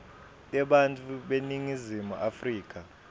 tebantfu beningizimu afrika